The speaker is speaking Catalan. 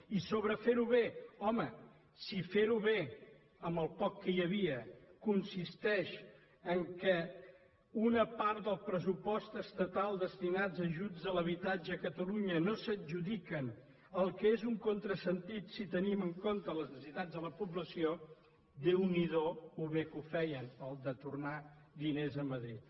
i sobre fer ho bé home si fer ho bé amb el poc que hi havia consisteix que una part del pressupost estatal destinat a ajuts a l’habitatge a catalunya no s’adjudica que és un contrasentit si tenim en compte les necessitats de la població déu n’hi do com ho feien de bé allò de tornar diners a madrid